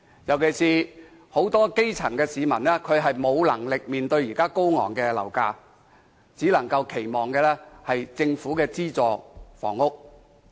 現時，很多基層市民沒有能力負擔高昂的樓價，只能期望入住政府的資助房屋。